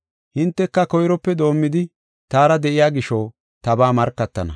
Hinteka koyrope doomidi taara de7iya gisho tabaa markatana.